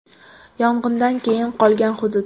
Yong‘indan keyin qolgan hudud.